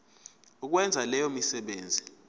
ukwenza leyo misebenzi